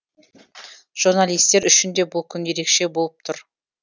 журналистер үшін де бұл күн ерекше болып тұр